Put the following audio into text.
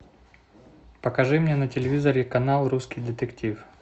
покажи мне на телевизоре канал русский детектив